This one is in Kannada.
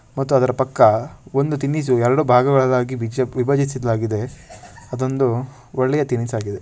ಮತ್ತು ಅದರ ಪಕ್ಕ ಒಂದು ತಿನಿಸು ಎರಡು ಭಾಗಗಳಾಗಿ ವಿಚೇ ವಿಭಜಿಸಲಾಗಿದೆ ಅದೊಂದು ಒಳ್ಳೆಯ ತಿನಿಸಾಗಿದೆ.